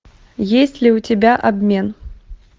есть ли у тебя обмен